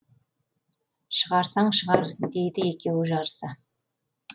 шығарсаң шығар дейді екеуі жарыса